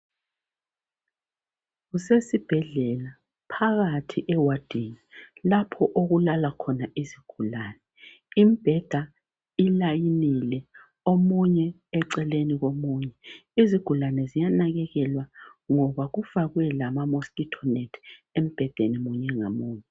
Kusesibhedlela phakathi ewadini lapho okulala khona izigulane. Imbheda ilayinile omunye eceleni komunye. Izigulane ziyanakekelwa ngoba kufakwe lama mosquito net embhedeni munye ngamunye.